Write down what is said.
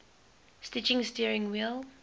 stitching steering wheel